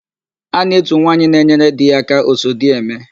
A na-etu nwaanyị na-enyere di ya aka, Osodieme.